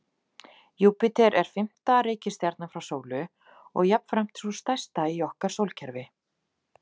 Júpíter er fimmta reikistjarnan frá sólu og jafnframt sú stærsta í okkar sólkerfi.